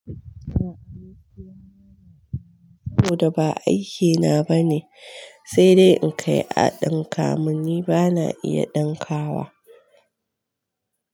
Saboda ba aikina bane, sai dai in kai a ɗinka mun. Ni bana iya ɗankawa.